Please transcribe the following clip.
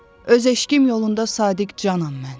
Öz eşqim yolunda sadiq canam mən.